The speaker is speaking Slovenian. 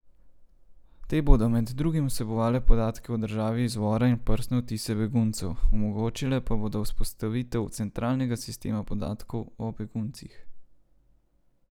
Te bodo med drugim vsebovale podatke o državi izvora in prstne odtise beguncev, omogočile pa bodo vzpostavitev centraliziranega sistema podatkov o beguncih.